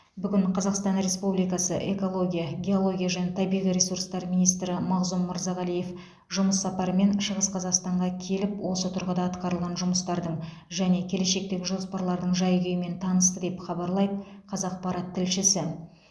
бүгін қазақстан республикасы экология геология және табиғи ресурстар министрі мағзұм мырзағалиев жұмыс сапарымен шығыс қазақстанға келіп осы тұрғыда атқарылған жұмыстардың және келешектегі жоспарлардың жай күйімен танысты деп хабарлайды қазақпарат тілшісі